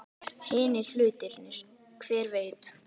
Hinir hlutirnir. hver veit?